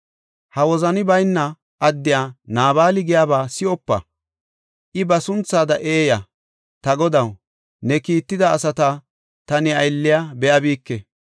Ha wozani bayna addey, Naabali giyaba si7opa; I ba sunthada eeya. Ta godaw, ne kiitida asata ta ne aylliya be7abike.